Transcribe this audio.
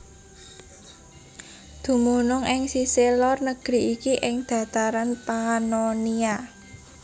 Dumunung ing sisih lor negeri iki ing dataran Pannonia